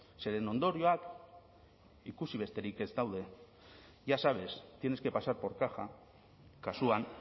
zeren ondorioak ikusi besterik ez daude ya sabes tienes que pasar por caja kasuan